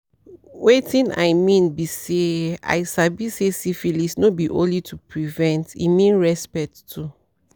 wetin i mean be say i sabi say syphilis no be only to prevent e mean respect too